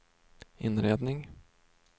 inredning